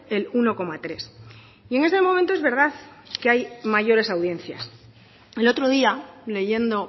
el uno coma tres y en este momento es verdad que hay mayores audiencias el otro día leyendo